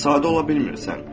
Sadə ola bilmirsən.